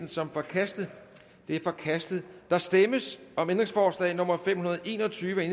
som forkastet det er forkastet der stemmes om ændringsforslag nummer fem hundrede og en og tyve af